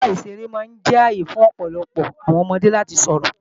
Pápá ìṣeré máa jẹ́ ààyè fún ọ̀pọ̀lọpọọ àwọn ọmọdé láti sọ̀rọ̀